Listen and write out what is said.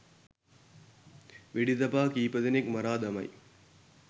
වෙඩි තබා කීප දෙනෙක් මරා දමයි..